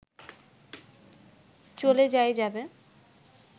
চলে যাই যাবে